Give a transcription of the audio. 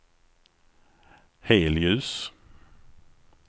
helljus